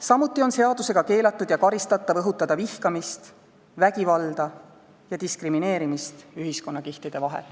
Samuti on seadusega keelatud ja karistatav õhutada vihkamist, vägivalda ja diskrimineerimist ühiskonnakihtide vahel.